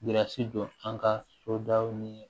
Jirasi don an ka so daw ni